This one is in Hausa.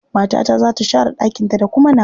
Matata za ta share ɗakinta da kuma nawa.